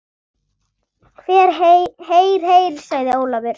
Heyr, heyr sagði Ólafur.